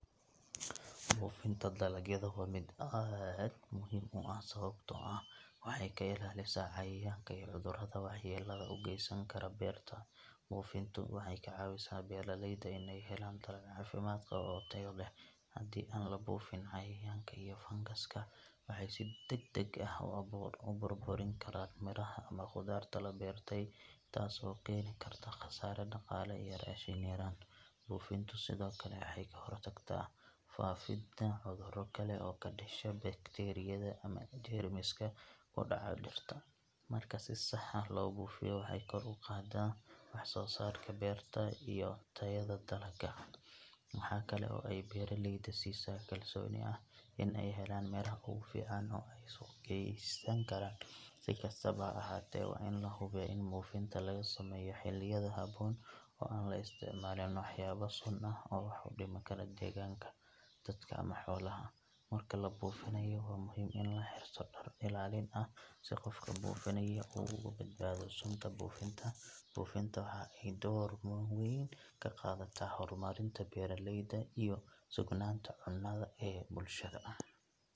Buufinta dalagyada waa mid aad muhiim u ah sababtoo ah waxay ka ilaalisaa cayayaanka iyo cudurrada waxyeellada u geysan kara beerta. Buufintu waxay ka caawisaa beeraleyda in ay helaan dalag caafimaad qaba oo tayo leh. Haddii aan la buufin, cayayaanka iyo fangaska waxay si degdeg ah u burburin karaan miraha ama khudaarta la beertay, taas oo keeni karta khasaare dhaqaale iyo raashin yaraan. Buufintu sidoo kale waxay ka hortagtaa faafidda cudurro kale oo ka dhasha bakteeriyada ama jeermiska ku dhaca dhirta. Marka si sax ah loo buufiyo, waxay kor u qaaddaa wax soo saarka beerta iyo tayada dalagga. Waxa kale oo ay beeraleyda siisaa kalsooni ah in ay helayaan miraha ugu fiican oo ay suuq geysan karaan. Si kastaba ha ahaatee, waa in la hubiyaa in buufinta lagu sameeyo xilliyada habboon oo aan la isticmaalin waxyaabo sun ah oo wax u dhimi kara deegaanka, dadka ama xoolaha. Marka la buufinayo, waa muhiim in la xirto dhar ilaalin ah si qofka buufinaya uu uga badbaado sunta buufinta. Buufinta waxa ay door weyn ka qaadataa horumarinta beeraleyda iyo sugnaanta cunnada ee bulshada.